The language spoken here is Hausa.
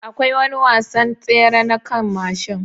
Akwai wani wasan tsere na kan mashin